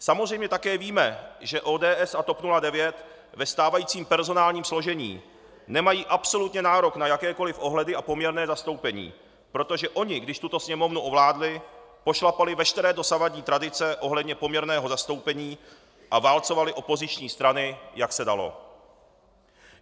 Samozřejmě také víme, že ODS a TOP 09 ve stávajícím personálním složení nemají absolutně nárok na jakékoliv ohledy a poměrné zastoupení, protože oni, když tuto Sněmovnu ovládli, pošlapali veškeré dosavadní tradice ohledně poměrného zastoupení a válcovali opoziční strany, jak se dalo.